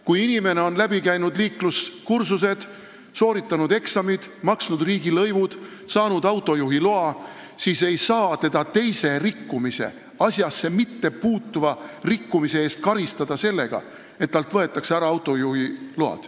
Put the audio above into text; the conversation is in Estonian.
Kui inimene on läbi teinud liikluskursused, sooritanud eksamid, maksnud riigilõivud ja saanud autojuhiloa, siis ei saa teda teise, liiklusse mittepuutuva rikkumise eest karistada sellega, et talt võetakse ära autojuhiluba.